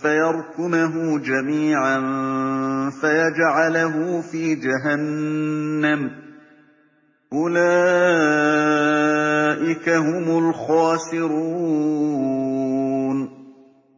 فَيَرْكُمَهُ جَمِيعًا فَيَجْعَلَهُ فِي جَهَنَّمَ ۚ أُولَٰئِكَ هُمُ الْخَاسِرُونَ